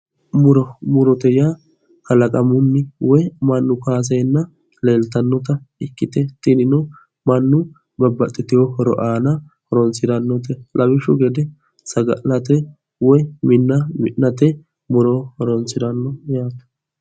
Muro murote yaa kalaqamunni woyi mannu kaaseenna leeltannota ikkite tinino mannu babbaxxitewo horo aana horonsirannote lawishshu gede saga'late woyi minna mi'nate muro horonsiranno yaate